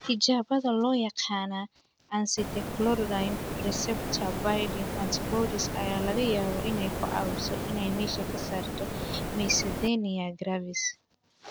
Tijaabada loo yaqaan 'acetylcholine reseptor binding antibodies' ayaa laga yaabaa inay ku caawiso inay meesha ka saarto myasthenia gravis.